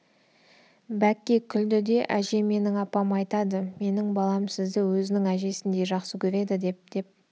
бәкке күлді де әже менің апам айтады менің балам сізді өзінің әжесіндей жақсы көреді деп деп